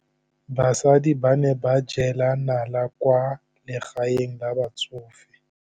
Basadi ba ne ba jela nala kwaa legaeng la batsofe.